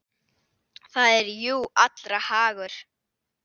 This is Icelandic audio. Það er jú allra hagur.